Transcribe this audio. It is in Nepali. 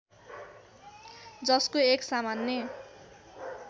जसको एक सामान्य